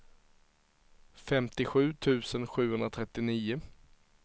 femtiosju tusen sjuhundratrettionio